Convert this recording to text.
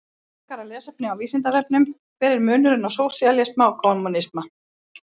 Frekara lesefni á Vísindavefnum: Hver er munurinn á sósíalisma og kommúnisma?